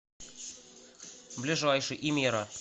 ближайший имера